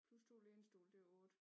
Plus 2 lænestole det er 8